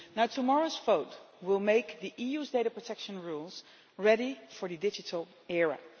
Tomorrow's vote will make the EU's data protection rules ready for the digital era.